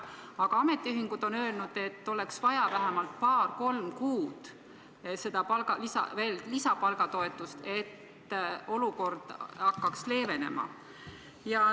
Aga ametiühingud on öelnud, et oleks vaja vähemalt paar-kolm kuud seda lisapalgatoetust, et olukord hakkaks leevenema.